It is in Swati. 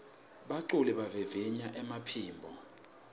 baculi bavivinya emaphimbo